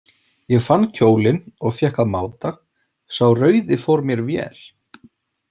Ég fann kjólinn og fékk að máta, sá rauði fór mér vel.